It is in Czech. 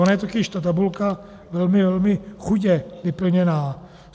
Ona je totiž ta tabulka velmi, velmi chudě vyplněna.